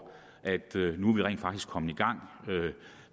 at vi nu rent faktisk er kommet i gang